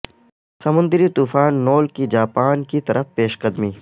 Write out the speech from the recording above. سمندری طوفان نول کی جاپان کی طرف پیش قدمی